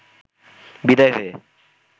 বিদায় হয়ে